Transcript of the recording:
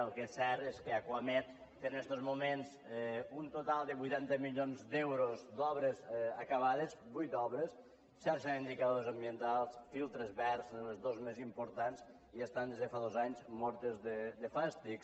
el que és cert és que acuamed té en estos moments un total de vuitanta milions d’euros d’obres acabades vuit obres sense indicadors ambientals filtres verds són els dos més importants i estan des de fa dos anys mortes de fàstic